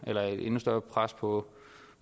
et endnu større pres på